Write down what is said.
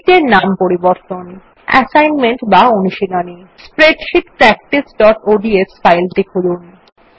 sheet এর নাম পরিবর্তন অ্যাসাইনমেন্ট বা অনুশীলনী স্প্রেডশীট practiceঅডস ফাইলটি খুলুন